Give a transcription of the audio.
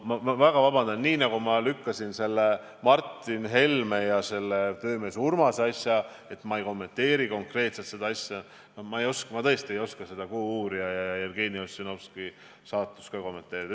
Ma väga vabandan, aga nii nagu ma lükkasin tagasi selle Martin Helme ja töömees Urmase asja, öeldes, et ma ei kommenteeri konkreetselt seda juhtumit, nii ma tõesti ei oska ka seda "Kuuuurijat" ja Jevgeni Ossinovski saatust kommenteerida.